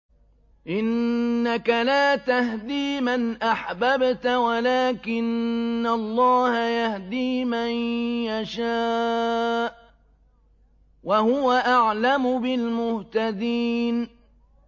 إِنَّكَ لَا تَهْدِي مَنْ أَحْبَبْتَ وَلَٰكِنَّ اللَّهَ يَهْدِي مَن يَشَاءُ ۚ وَهُوَ أَعْلَمُ بِالْمُهْتَدِينَ